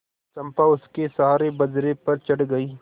चंपा उसके सहारे बजरे पर चढ़ गई